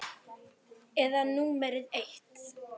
Eyða númer eitt.